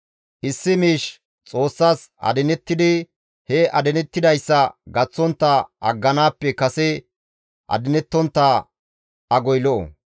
Issi miish Xoossas adinettidi he adinettidayssa gaththontta agganaappe kase adinettontta agoy lo7o.